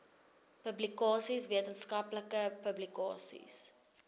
publikasies wetenskaplike publikasies